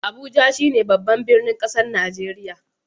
Abuja shine babban birnin kasan Nijeriya.